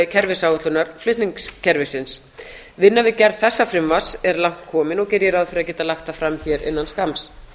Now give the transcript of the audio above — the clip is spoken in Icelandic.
kerfisáætlunar flutningskerfisins vinna við gerð þessa frumvarps er langt komin og geri ég ráð fyrir að geta lagt það fram hér innan skamms